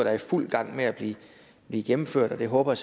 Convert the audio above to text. er i fuld gang med at blive gennemført det håber